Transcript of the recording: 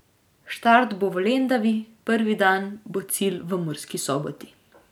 Štart bo v Lendavi, prvi dan bo cilj v Murski Soboti.